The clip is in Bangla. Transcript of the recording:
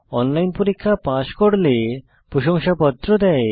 অনলাইন পরীক্ষা পাস করলে প্রশংসাপত্র দেয়